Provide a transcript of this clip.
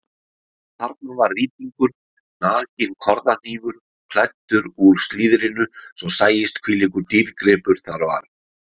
Og þarna var rýtingur, nakinn korðahnífur klæddur úr slíðrinu svo sæist hvílíkur dýrgripur þar var.